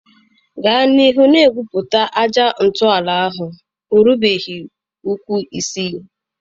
Gaa n'ihu na-egwupụta aja ntọala ahụ, ọ rubeghị ụkwụ isii